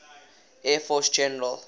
air force general